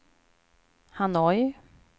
Hanoi